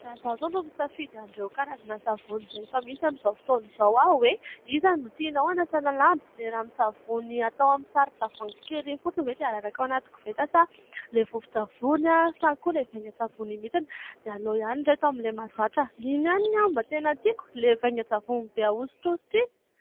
Raha izaho izao no misafidy an'ireo karazana savony izay efa misy amin'izao fotoana izao hoe iza no tianao hanasana lamba : ilay ranon-tsavony atao amin'ny saron-tavoahangy kely iny fotsiny ve dia araraka ao anaty koveta, sa ilay vovon-tsavony, sa koa ilay vaingan-tsavony iny mihitsy ? dia aleo ihany ry ireto amin'ilay mahazatra ! iny ihany ny ahy no mba tena tiako, ilay vaingan-tsavony be ahosotrosotra iny !